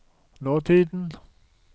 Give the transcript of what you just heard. nåtiden